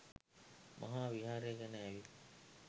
මහා විහාරය ගෙන ඇවිත්